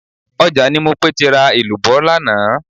Ọjà ni Mopé ti ra èlùbọ́ lánàá